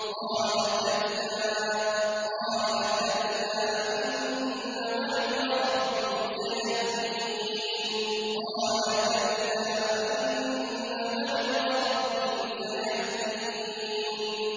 قَالَ كَلَّا ۖ إِنَّ مَعِيَ رَبِّي سَيَهْدِينِ